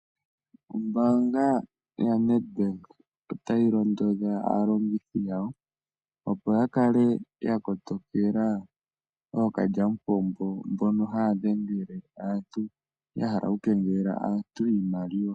Ombaanga yo Nedbank otayi londodha aalongithi yawo opo ya kale ya kotokela ookalyamupombo mbono haya dhengele aantu ya hala oku kengelela aantu nenge aalongithi yawo opo ya kale ya kotokela ookalyamupombo mbono haya dhengele aantu yahala oku kengelela aantu iimaliwa